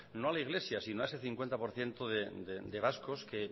no a la iglesia sino a ese cincuenta por ciento de vascos que